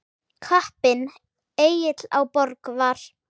Kappinn Egill á Borg var.